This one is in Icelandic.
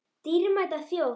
Dýrmæta þjóð!